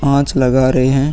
कांच लगा रहे हैं |